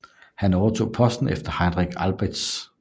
Han overtog posten efter Heinrich Albertz